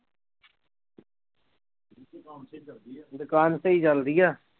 ਦੁਕਾਨ ਸਹੀ ਚੱਲਦੀ ਆ